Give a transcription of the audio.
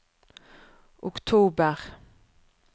oktober